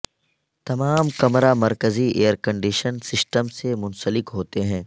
تمام کمرہ مرکزی ایئر کنڈیشنگ سسٹم سے منسلک ہوتے ہیں